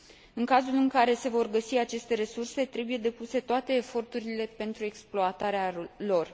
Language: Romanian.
În cazul în care se vor găsi aceste resurse, trebuie depuse toate eforturile pentru exploatarea lor.